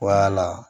Wala